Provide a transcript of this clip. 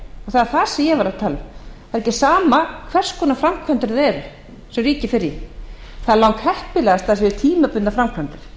það er það sem ég var að tala um það er ekki sama hvers konar framkvæmdir það eru sem ríkið fer í það er langheppilegast við tímabundnar framkvæmdir